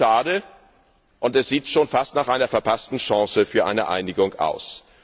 Das ist mehr als schade und sieht schon fast nach einer verpassten Chance für eine Einigung aus.